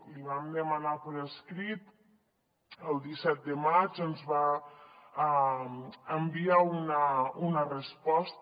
li vam demanar per escrit el disset de maig ens va enviar una resposta